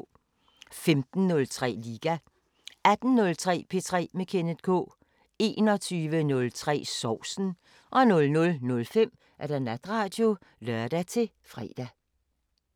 15:03: Liga 18:03: P3 med Kenneth K 21:03: Sovsen 00:05: Natradio (lør-fre)